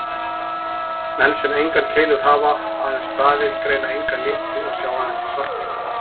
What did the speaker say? Menn sem engar keilur hafa, aðeins stafi, greina enga liti og sjá aðeins í svart-hvítu.